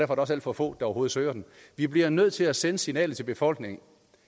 der også alt for få der overhovedet søger den vi bliver nødt til at sende det signal til befolkningen at